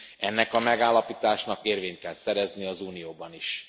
Ennek a megállapításnak érvényt kell szerezni az Unióban is.